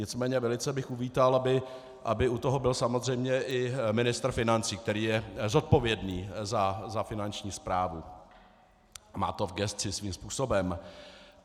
Nicméně velice bych uvítal, aby u toho byl samozřejmě i ministr financí, který je zodpovědný za Finanční správu, má to v gesci svým způsobem.